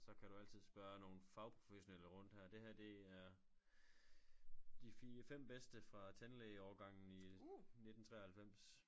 Så kan du altid spørge nogle fagprofessionelle rundt her det her det er de 4 5 bedste fra tandlægeårgangen i 19 93